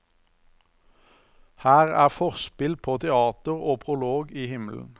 Her er forspill på teatret og prolog i himmelen.